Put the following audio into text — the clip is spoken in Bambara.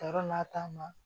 Ka yɔrɔ n'a ta ma